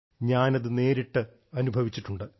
ഞാൻ അത് നേരിട്ട് അനുഭവിച്ചിട്ടുണ്ട്